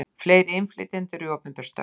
Fleiri innflytjendur í opinber störf